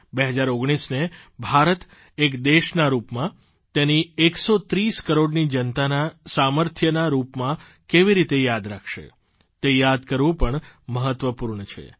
2019ને ભારત એક દેશના રૂપમાં તેની એકસો ત્રીસ કરોડની જનતાના સામર્થ્યના રૂપમાં કેવી રીતે યાદ રાખશે તે યાદ કરવું પણ મહત્વપૂર્ણ છે